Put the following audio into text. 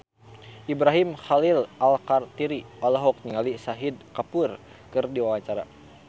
Ibrahim Khalil Alkatiri olohok ningali Shahid Kapoor keur diwawancara